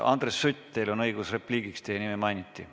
Andres Sutt, teil on õigus repliigiks, teie nime mainiti.